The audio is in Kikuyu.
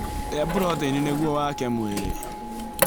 Rĩa proteini nĩguo wake mwĩrĩ